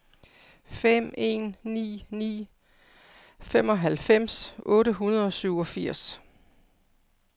fem en ni ni femoghalvfems otte hundrede og syvogfirs